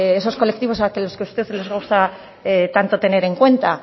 esos colectivos a los que usted les gusta tanto tener en cuenta